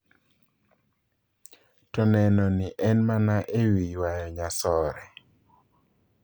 To nenoni en mane ewii ywayo nyasore?